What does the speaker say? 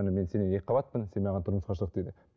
міне мен сеннен екі қабатпын сен маған тұрмысқа шық дейді